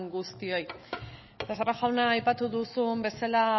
guztioi becerra jauna aipatu duzun bezala